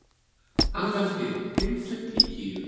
Angantýr, hringdu í Gígju.